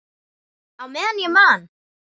Á meðan ég man.